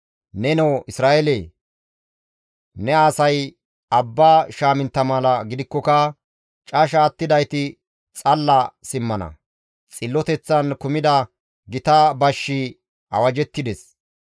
Nenoo Isra7eele! Ne asay abba shaamintta mala gidikkoka casha attidayti xalla simmana. Xilloteththan kumida gita bashshi awajettides.